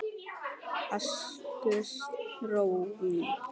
Ástrós mín.